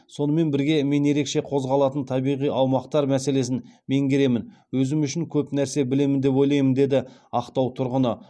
сонымен бірге мен ерекше қозғалатын табиғи аумақтар мәселесін меңгеремін өзім үшін көп нәрсе білемін деп ойлаймын деді ақтау тұрғыны